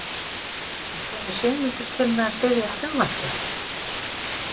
En kemur Sigmundur til með að styðja frumvarpið?